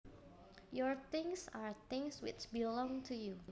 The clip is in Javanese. Your things are things which belong to you